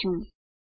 લખીશું